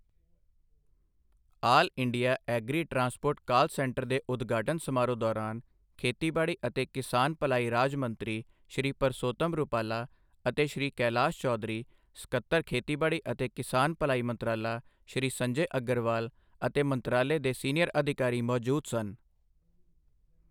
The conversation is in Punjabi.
ਆਲ India agri transport call centre ਦੇ ਉਦਘਾਟਨ ਸਮਾਰੋਹ ਦੌਰਾਨ ਖੇਤੀਬਾੜੀ ਅਤੇ ਕਿਸਾਨ ਭਲਾਈ ਰਾਜ ਮੰਤਰੀ, ਸ਼੍ਰੀ ਪਰਸੋਤਮ ਰੁਪਾਲਾ ਅਤੇ ਸ਼੍ਰੀ ਕੈਲਾਸ਼ ਚੌਧਰੀ, ਸਕੱਤਰ ਖੇਤੀਬਾੜੀ ਅਤੇ ਕਿਸਾਨ ਭਲਾਈ ਮੰਤਰਾਲਾ, ਸ਼੍ਰੀ ਸੰਜੈ ਅਗਰਵਾਲ ਅਤੇ ਮੰਤਰਾਲੇ ਦੇ ਸੀਨੀਅਰ ਅਧਿਕਾਰੀ ਮੌਜੂਦ ਸਨ।